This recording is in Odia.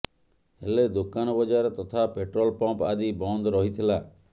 ହେଲେ ଦୋକାନ ବଜାର ତଥା ପେଟ୍ରୋଲ ପମ୍ପ ଆଦି ବନ୍ଦ ରହିଥିଲା